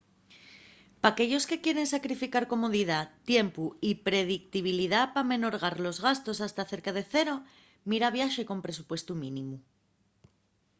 p’aquellos que quieren sacrificar comodidá tiempu y predictibilidá p’amenorgar los gastos hasta cerca de cero mira viaxe con presupuestu mínimu